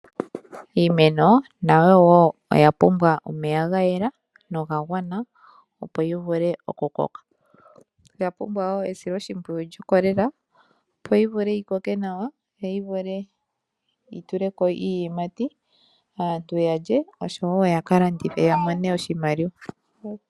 Iimeno nayo wo oya pumbwa omeya gayela noga gwana opo yi vule okukoka. Oya pumbwa wo esilo shipwiyu lyokolela opo yi vule yi koke nawa yo yi vule yi tuleko iiyimati aantu yalye osho wo ya kalandithe ya mone oshimaliwa.